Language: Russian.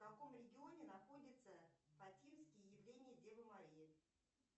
в каком регионе находятся фатинские явления девы марии